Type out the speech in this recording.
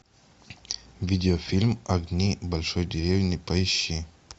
видеофильм огни большой деревни поищи